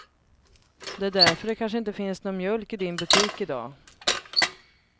Det är därför det kanske inte finns någon mjölk i din butik i dag.